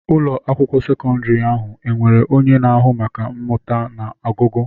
Ụlọ akwụkwọ sekọndrị ahụ enwere onye na-ahụ maka mmụta na ọgụgụ?